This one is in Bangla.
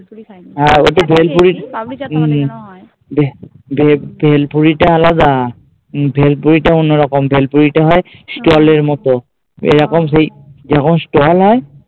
হ্যাঁ ওতে ভে ভেলপুরি টা আলাদা, ভেলপুরি টা অন্য রকম ভেলপুরি টা হয় stall এর মতো এরকম সেই জেরকম stall হয়